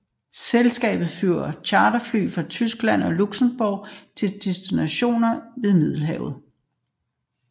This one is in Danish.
Selskabet flyver charterfly fra Tyskland og Luxembourg til destinationer ved Middelhavet